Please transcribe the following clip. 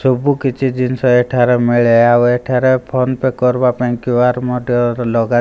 ସବୁ କିଛି ଜିନିଷ ଏଠାରେ ମିଳେ ଆଉ ଏଠାରେ ଫୋନ୍ ପେ କରିବା ପାଇଁ କ୍ୟାର ମଧ୍ୟ ଲଗା --